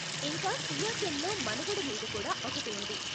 ఇంకా సియాచెన్లో మనుగడ మీద కూడా ఒకటి ఉంది.